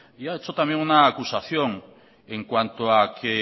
y ha hecho también una acusación en cuanto a que